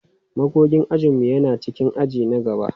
Magogin ajin mu yana cikin aji na gaba.